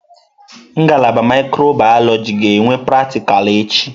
Ngalaba mikrobiyọlojị ga-enwe pratịkal echi.